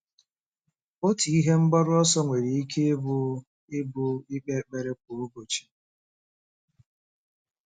Otu ihe mgbaru ọsọ nwere ike ịbụ ịbụ ikpe ekpere kwa ụbọchị.